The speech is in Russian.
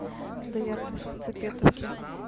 доярка из хацапетовки